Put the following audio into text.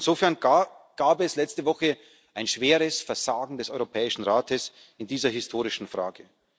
wir. Insofern gab es letzte Woche ein schweres Versagen des Europäischen Rates in dieser historischen Frage.